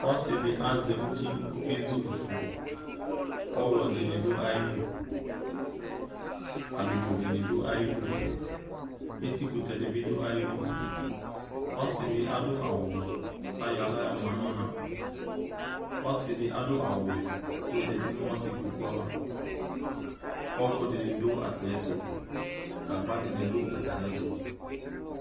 Ɔsɩ dɩ azɛ uti kʋ ɔkezu fufu Ɔɣlɔ dɩnɩ dʋ ayɩdu Abidzo dɩnɩ dʋ ayɩdu, etikʋtɛ dɩ bɩ dʋ ayɩdu Ɔsɩ dɩ adʋ awʋblɔ kʋ ayɔ aɣla yɔma nʋ ɔna Ɔsɩ dɩ adʋ awʋwɛ kʋ ɔzati nʋ ɔsɩkpoku ava Ɔɣɔkʋ dɩnɩ dʋ atamɩɛtʋ, gagba dɩnɩ dʋ atmɩɛtʋ